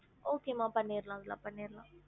Okay மா பண்ணிறலாம் நல்லா பண்ணிறலாம்